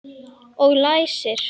Og læsir.